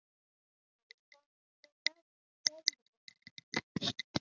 Jóhann: Hvað með veðrið?